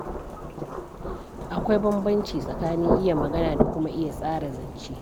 Akwai bambanci tsakanin iya magana da kuma iya tsara zance.